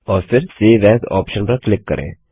और फिर save as option पर क्लिक करें